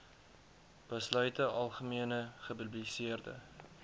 besluite algemene gepubliseerde